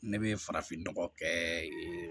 Ne bɛ farafin nɔgɔ kɛ